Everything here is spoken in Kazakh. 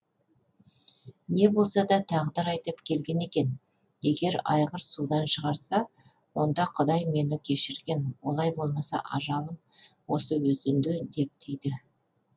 не болса да тағдыр айдап келген екен егер айғыр судан шығарса онда кұдай мені кешірген олай болмаса ажалым осы өзенде деп түйді